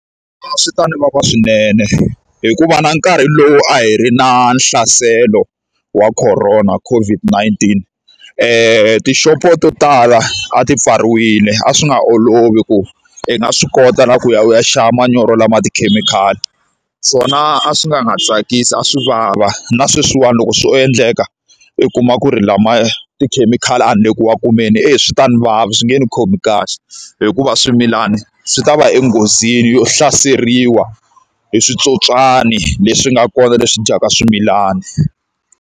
A swi ta ndzi vavisa swinene hikuva na nkarhi lowu a hi ri na nhlaselo wa Corona COVID 19, tixopo to tala a ti pfariwile a swi nga olovi ku i nga swi kota na ku ya u ya xava manyoro lama tikhemikhali. Swona a swi nga tsakisi a swi vava, na sweswiwani loko swo endleka u kuma ku ri lama tikhemikhali a ni le ku ma kumeni e swi ta ni vava, swi nge ni khomi kahle, hikuva swimilana swi ta va enghozini yo hlaseriwa hi switsotswani leswi nga kona leswi dyaka swimilana.